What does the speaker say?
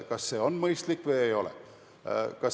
Kas see on mõistlik või ei ole?